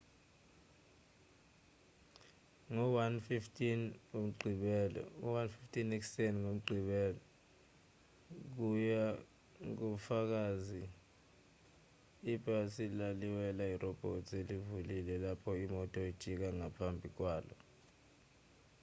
ngo-1:15 a.m. ngomgqibelo kuya ngofakazi ibhasi laliwela irobhothi elivulile lapho imoto ijika ngaphambi kwalo